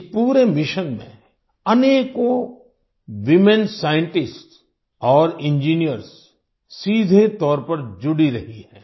इस पूरे मिशन में अनेकों वूमेन साइंटिस्ट्स और इंजिनियर्स सीधे तौर पर जुड़ी रही हैं